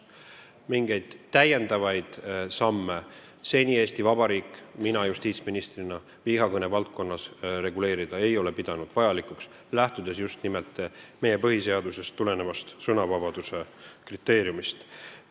Mingeid lisasamme Eesti Vabariik ja mina justiitsministrina ei ole seni vihakõne valdkonna reguleerimiseks pidanud vajalikuks, lähtudes just nimelt meie põhiseadusest tulenevast sõnavabaduse kriteeriumist.